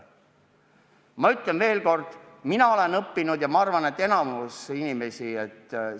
Ma ütlen veel kord: mina olen sellest olukorrast õppinud ja ma arvan, et enamik inimesi on sellest õppinud.